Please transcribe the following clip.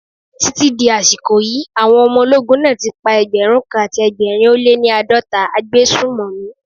Títí di àsìkò yí, àwọn ọmọ ológun náà ti pa ẹgbẹ̀rún kan àti ẹgbẹ̀rin ó lé ní àádọ́ta agbésùmọ̀mí.